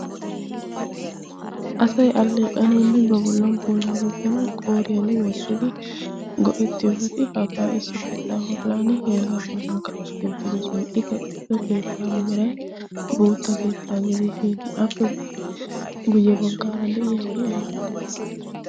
asay alleeqanawunne ba bollan pulaa gujanawu qooriyan wottidi go7etti ufaytti hagaa issi keettaa hollan heregaa bollan kaqetti oottidosona. i kaqettido keettaa meray bootta keettaa gidi pinappe guyye baggaara de7iya i aybbe?